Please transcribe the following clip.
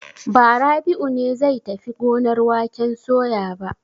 Ba, Rabi'u ne zai tafi gonar waken soya ba.